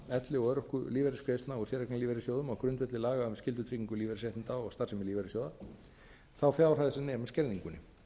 elli og örorkulífeyrisgreiðslna og séreigna í lífeyrissjóðum á grundvelli laga um skyldutryggingu lífeyrisréttinda og starfsemi lífeyrissjóða þá fjárhæð sem nemur skerðingunni